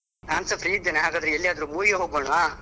ನಾನ್ಸ free ಇದ್ದೇನೆ ಹಾಗಾದ್ರೆ ಎಲ್ಲಿಗಾದ್ರೂ movie ಗೆ ಹೋಗೋಣ್ವಾ?